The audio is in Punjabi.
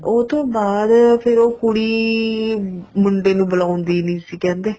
ਉਹ ਤੋਂ ਬਾਅਦ ਫ਼ੇਰ ਉਹ ਕੁੜੀ ਮੁੰਡੇ ਨੂੰ ਬੁਲਾਉਦੀ ਨਹੀਂ ਸੀ ਕਹਿੰਦੇ